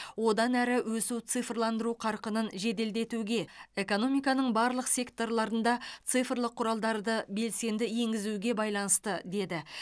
одан әрі өсу цифрландыру қарқынын жеделдетуге экономиканың барлық секторларында цифрлық құралдарды белсенді енгізуге байланысты деді